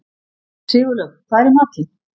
Sigurlaug, hvað er í matinn?